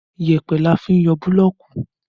Yẹpẹ ni a fi n yọ búlọ̀ọ̀kù